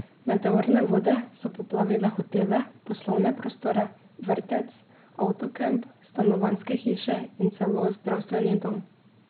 Meteorne vode so poplavile hotele, poslovne prostore, vrtec, avtokamp, stanovanjske hiše in celo zdravstveni dom.